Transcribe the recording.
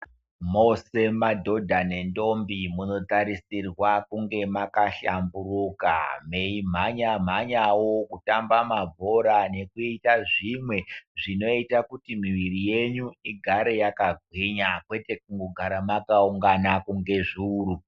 Mose madhodha nendombi munotarisirwa kunge makahlamburuka. Mei mhanya-mwanyavo kutamba mabhora nekuita zvimwe zvinoita kuti mwiviri yenyu igare yakagwinya, kwete kungogara makaungana kunge zvuru.